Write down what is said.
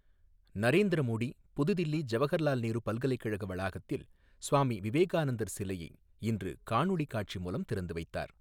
நரேந்திர மோடி, புதுதில்லி ஜவஹர்லால் நேரு பல்கலைக்கழக வளாகத்தில், சுவாமி விவேகானந்தர் சிலையை இன்று காணொளலி காட்சி மூலம் திறந்து வைத்தார்.